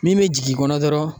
Min bɛ jigin i kɔnɔ dɔrɔn